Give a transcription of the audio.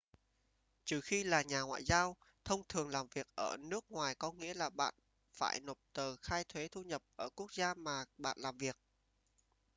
trừ khi là nhà ngoại giao thông thường làm việc ở nước ngoài có nghĩa là bạn phải nộp tờ khai thuế thu nhập ở quốc gia mà bạn làm việc